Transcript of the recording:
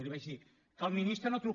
i li vaig dir que el ministre no truca